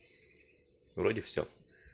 вроде всё